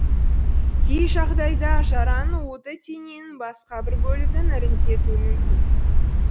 кей жағдайда жараның уыты дененің басқа бір бөлігін іріңдетуі мүмкін